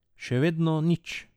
Še vedno nič.